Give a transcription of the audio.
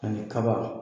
Ani kaba